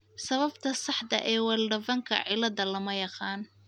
Sababta saxda ah ee Wildervanck ciladha lama yaqaan.